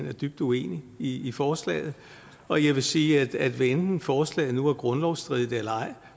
er dybt uenig i i forslaget og jeg vil sige at hvad enten forslaget nu er grundlovsstridigt eller ej